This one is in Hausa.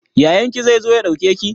Yayan ki zai zo ya ɗauke ki?